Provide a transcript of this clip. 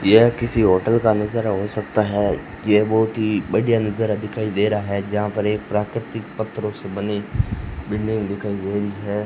यह किसी होटल का नजारा हो सकता है। ये बहुत ही बढ़िया नजारा दिखाई दे रहा हैं। जहां पर एक प्राकृतिक पत्रों से बनी बिल्डिंग दिखाई दे रही है।